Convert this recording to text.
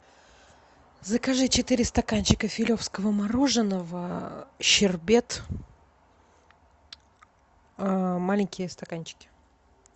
закажи четыре стаканчика филевского мороженного а щербет а маленькие стаканчики